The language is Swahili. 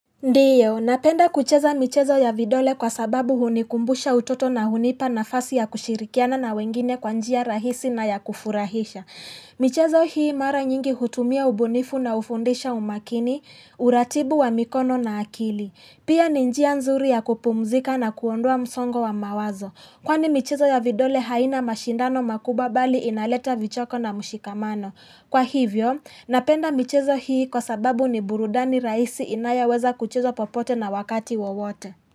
Ndiyo, napenda kucheza michezo ya vidole kwa sababu hunikumbusha utoto na hunipa nafasi ya kushirikiana na wengine kwa njia rahisi na ya kufurahisha. Michezo hii mara nyingi hutumia ubunifu na ufundisha umakini, uratibu wa mikono na akili. Pia ni njia nzuri ya kupumzika na kuondoa msongo wa mawazo. Kwa ni michezo ya vidole haina mashindano makubwa bali inaleta vichoko na mushikamano. Kwa hivyo, napenda michezo hii kwa sababu ni burudani rahisi inayo weza kucheza popote na wakati wawote.